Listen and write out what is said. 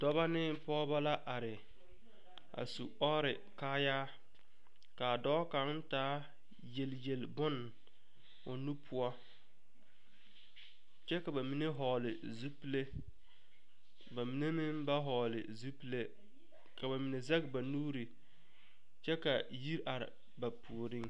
Doɔbo ne pogebo la are a su ɔre kaaya. Kaa doɔ kang taa yelyel bon o nu poʊ. Kyɛ ka ba mene vogle zupule. Ba mene meŋ ba vogle zupule. Ka ba mene zeg ba nuure kyɛ ka yir are ba pooreŋ.